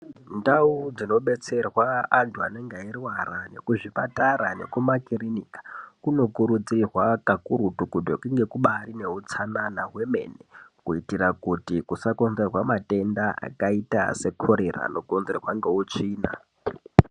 Ndau dzinobetserwa antu anenge airwara nekuzvipatara nekumakirinika kunokurudzirwa kakurutu kuti kunge kubari neutsanana hwemene kuitira kuti kusakonzerwa matenda akaita seKorera anokonzerwa ngeutsvina.